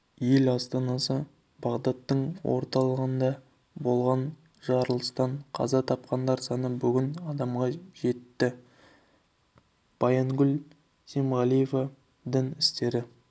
ел астанасы бағдадтың орталығында болған жарылыстан қаза тапқандар саны бүгін адамға жетті баянгүл семғалиева дін істері